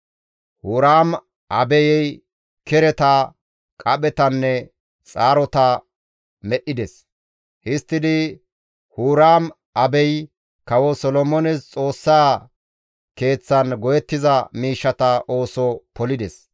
Huraam-Abey kereta, qaphetanne xaarota medhdhides; histtidi Huraam-Abey Kawo Solomoones Xoossaa keeththan go7ettiza miishshata ooso polides.